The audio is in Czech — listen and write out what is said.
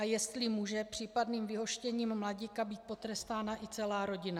A jestli může případným vyhoštěním mladíka být potrestána i celá rodina.